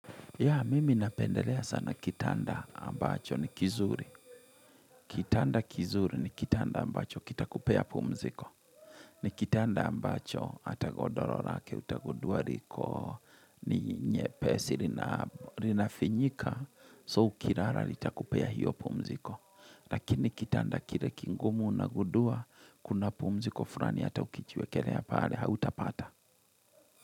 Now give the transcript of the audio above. Ya mimi napendelea sana kitanda ambacho ni kizuri. Kitanda kizuri ni kitanda ambacho kitakupea pumziko. Ni kitanda ambacho hata godoro lake utagundua liko ni nyepesi linafinyika so ukilala litakupea hio pumziko. Lakini kitanda kile kigumu unagundua kuna pumziko fulani hata ukijiwekelea pale hautapata.